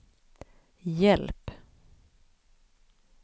hjälp